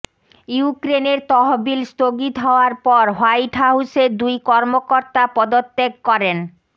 ইউক্রেনের তহবিল স্থগিত হওয়ার পর হোয়াইট হাউসের দুই কর্মকর্তা পদত্যাগ করেন